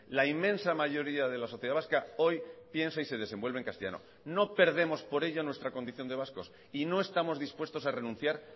la inmensa mayoría de la sociedad vasca hoy piensa y se desenvuelve en castellano no perdemos por ello nuestra condición de vascos y no estamos dispuestos a renunciar